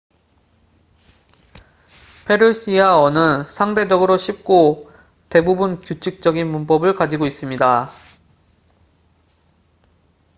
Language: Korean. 페르시아어는 상대적으로 쉽고 대부분 규칙적인 문법을 가지고 있습니다